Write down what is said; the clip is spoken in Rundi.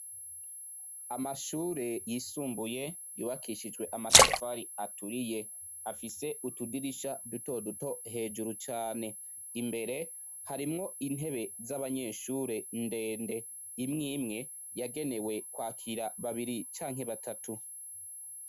Amashure yisumbuye yubakishijwe amatafari aturiye afise utudirisha dutoduto hejuru cane. Imbere harimwo intebe z'abanyeshuri ndende imwimwe yagenewe kwakira babiri canke batatu.